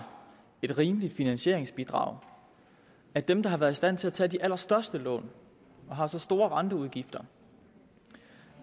et rimeligt finansieringsbidrag at dem der har været i stand til at tage de allerstørste lån og har så store renteudgifter